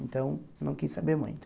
Então, não quis saber muito.